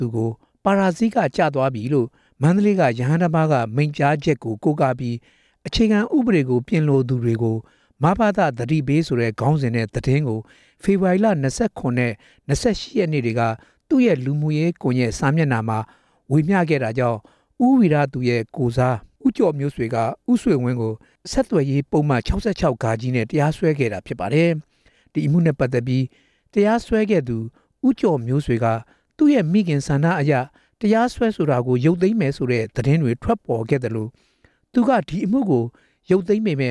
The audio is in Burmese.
ူကို ပါရဇိက ကျသွားပြီလို့ မန္တလေးက ရဟန်းတော်တစ်ပါးက မိန့်ကြားထားချက်ကို ကိုးကားပြီး "အခြေခံ ဥပဒေပြင်လိုသူတွေကို မဘသ သတိပေး" ဆိုတဲ့ ခေါင်းစဉ်နဲ့ သတင်းကို ဖေဖော်ဝါရီလ ၂၇ နဲ့ ၂၈ ရက်နေ့တွေက သူရဲ့လူမှုကွန်ရက် စာမျက်နှာမှာ ဝေမျှခဲ့တာကြောင့် ဦးဝိရသူရဲ့ ကိုယ်စား ဦးကျော်မျိုးရွှွေက ဦးဆွေဝင်းကို ဆက်သွယ်ရေးပုဒ်မ ၆၆-ဃနဲ့ တရားစွဲခဲ့တာဖြစ်ပါတယ်။ ဒီအမှုနဲ့ပတ်သက်ပြီး တရားစွဲသူ ဦးကျော်မျိုးဆွေက သူ့မိခင်ရဲ့ ဆန္ဒအရ တရားစွဲဆိုတာကို ရုပ်သိမ်းမယ်ဆိုတဲ့ သတင်းတွေထွက်ပေါ်ခဲ့သလို သူက အမူကို ရုပ်သိမ်းပေမ